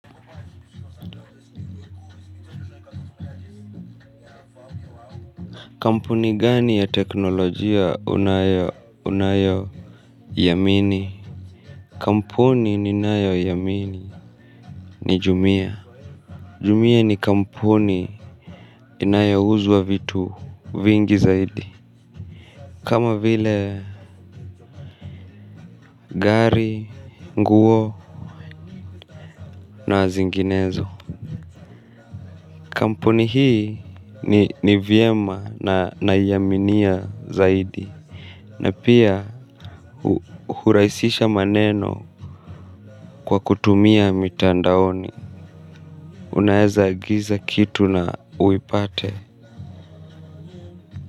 Kampuni gani ya teknolojia unayo yamini? Kampuni ni nayo yamini ni jumia. Jumia ni kampuni inayo uzwa vitu vingi zaidi. Kama vile gari, nguo na zinginezo. Kampuni hii ni vyema na yaminia zaidi. Na pia huraisisha maneno kwa kutumia mitandaoni. Unaeza agiza kitu na uipate.